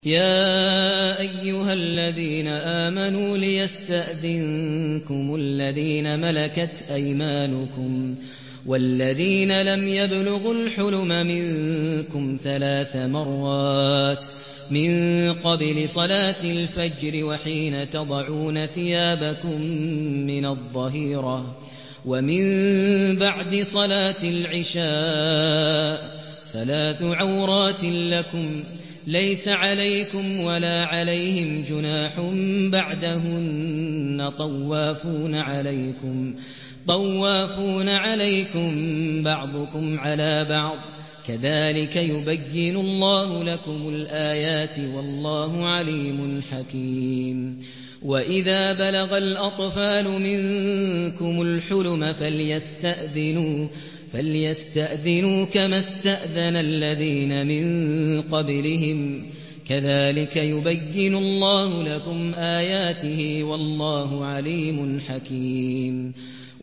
يَا أَيُّهَا الَّذِينَ آمَنُوا لِيَسْتَأْذِنكُمُ الَّذِينَ مَلَكَتْ أَيْمَانُكُمْ وَالَّذِينَ لَمْ يَبْلُغُوا الْحُلُمَ مِنكُمْ ثَلَاثَ مَرَّاتٍ ۚ مِّن قَبْلِ صَلَاةِ الْفَجْرِ وَحِينَ تَضَعُونَ ثِيَابَكُم مِّنَ الظَّهِيرَةِ وَمِن بَعْدِ صَلَاةِ الْعِشَاءِ ۚ ثَلَاثُ عَوْرَاتٍ لَّكُمْ ۚ لَيْسَ عَلَيْكُمْ وَلَا عَلَيْهِمْ جُنَاحٌ بَعْدَهُنَّ ۚ طَوَّافُونَ عَلَيْكُم بَعْضُكُمْ عَلَىٰ بَعْضٍ ۚ كَذَٰلِكَ يُبَيِّنُ اللَّهُ لَكُمُ الْآيَاتِ ۗ وَاللَّهُ عَلِيمٌ حَكِيمٌ